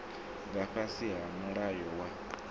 nga fhasi ha mulayo wa